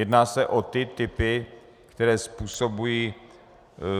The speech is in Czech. Jedná se o ty typy, které způsobují